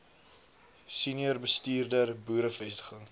senior bestuurder boerevestiging